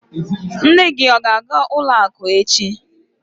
Nne gị a ga-aga ụlọakụ echi?